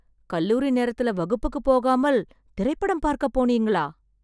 கல்லூரி நேரத்துல வகுப்புக்கு போகாமல், திரைப்படம் பார்க்க போனீங்களா...